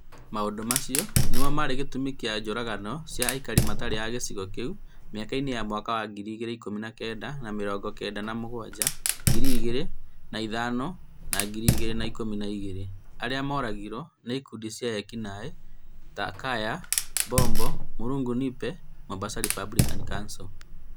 Maũndu macio nĩmo marĩ gĩtũmi kĩa njũragano cia aikari matarĩ ma gĩcigo kĩu mĩaka-inĩ ya mwaka wa ngiri ikũmi na kenda na mĩrongo kenda na mũgwanja, ngiri igĩrĩ na ithano na ngiri igĩrĩ na ikũmi na igĩrĩ, arĩa moragirwo nĩ ĩkundi cia eki naĩ ta Kaya Bombo, Mlungu Nipe na Mombasa Republican Council.